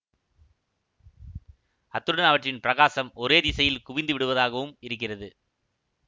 அத்துடன் அவற்றின் பிரகாசம் ஒரே திசையில் குவிந்து விடுவதாகவும் இருக்கிறது